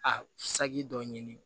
A saki dɔ ɲini